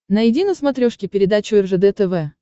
найди на смотрешке передачу ржд тв